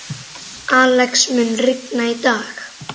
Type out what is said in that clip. Alex, mun rigna í dag?